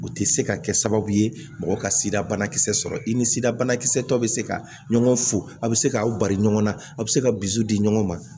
U tɛ se ka kɛ sababu ye mɔgɔ ka sida banakisɛ sɔrɔ i ni sida banakisɛ tɔ bɛ se ka ɲɔgɔn fo a bɛ se k'aw bari ɲɔgɔn na a bɛ se ka dusu di ɲɔgɔn ma